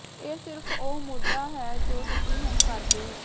ਇਹ ਸਿਰਫ ਉਹ ਮੁੱਦਾ ਹੈ ਜੋ ਤੁਸੀਂ ਹੁਣ ਕਰਦੇ ਹੋ